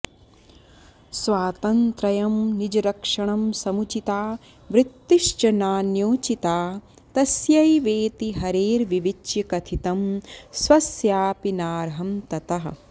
स्वातन्रयं निजरक्षणं समुचिता वृत्तिश्च नान्योचिता तस्यैवेति हरेर्विविच्य कथितं स्वस्यापि नार्हं ततः